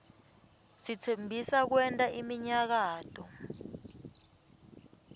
sitsembisa kwenta iminyakato